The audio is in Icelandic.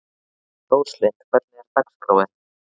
Róslind, hvernig er dagskráin?